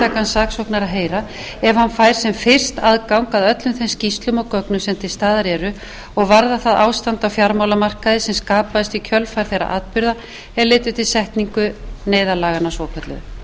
saksóknara heyra ef hann fær sem fyrst aðgang að öllum þeim skýrslum og gögnum sem til staðar eru og varða það ástand á fjármálamarkaði sem skapaðist í kjölfar þeirra atburða er leiddu til setningar neyðarlaganna svokölluðu þá er jafnframt lagt til að hinn